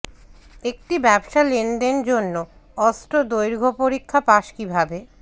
একটি ব্যবসা লেনদেন জন্য অস্ত্র দৈর্ঘ্য পরীক্ষা পাস কিভাবে